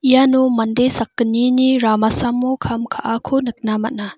iano mande sakgnini ramasamo kam ka·ako nikna man·a.